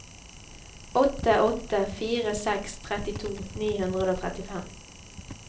åtte åtte fire seks trettito ni hundre og trettifem